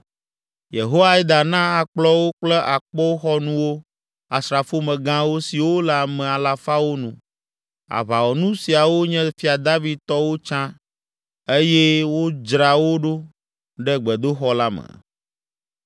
Yehoiada na akplɔwo kple akpoxɔnuwo asrafomegãwo siwo le ame alafawo nu. Aʋawɔnu siawo nye Fia David tɔwo tsã eye wodzra wo ɖo ɖe gbedoxɔ la me.